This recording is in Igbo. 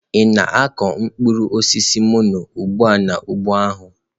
Ị na-akụ mkpụrụ osisi mono ugbu a n'ugbo ahụ?